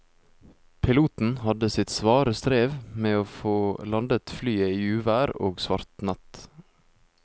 Piloten hadde sitt svare strev med å få landet flyet i uvær og svart natt.